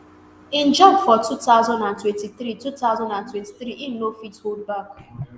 im job for two thousand and twenty-three two thousand and twenty-three e no fit hold back